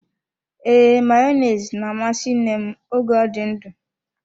Ee, Mayonezi na-amasị nne m oge ọ dị ndụ.